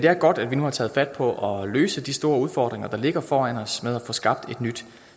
er godt at vi nu har taget fat på at løse de store udfordringer der ligger foran os med at få skabt et nyt